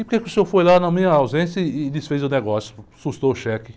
E por quê que o senhor foi lá na minha ausência e, e desfez o negócio, sustou o cheque?